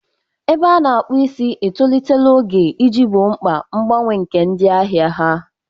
Ebe a na-akpu isi etolitela oge iji gboo mkpa mgbanwe nke ndị ahịa ha.